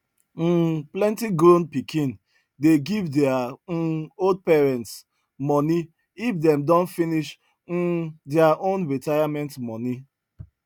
um plenti grown pikin dey give their um old parents money if them don finish um their own retirement money